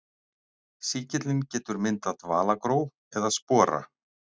Sýkillinn getur myndað dvalagró eða spora.